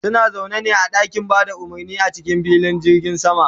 suna zaune ne a ɗakin Bada umurni a cikin filin jirgin sama